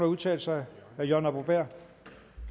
udtale sig herre jørgen arbo bæhr